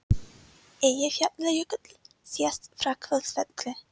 Eyjafjallajökull sést frá Hvolsvelli.